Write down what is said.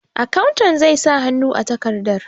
Akawun zai sa hannu a takardar.